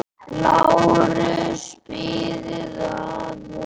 LÁRUS: Bíðið aðeins.